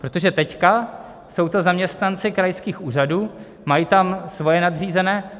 Protože teď jsou to zaměstnanci krajských úřadů, mají tam svoje nadřízené.